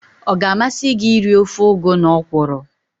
Ọ ga-amasị gị iri ofe ugu na ọkwụrụ?